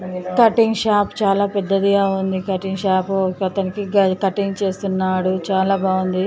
Cutting shop చాలా పెద్దదిగా ఉంది. కటింగ్ షాపు ఒక అతనికి కటింగ్ చేస్తున్నాడు. చాలా బాగుంది.